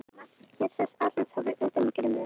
Hér sést Atlantshafið utan úr geimnum.